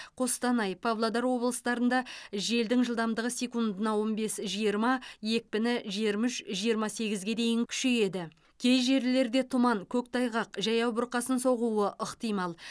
қостанай павлодар облыстарында желдің жылдамдығы секундына он бес жиырма екпіні жиырма үш жиырма сегізге дейін күшейеді кей жерлерде тұман көктайғақ жаяу бұрқасын соғуы ықтимал